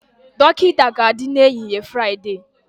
Dọkịta ga-adị n'ehihie Fraịdee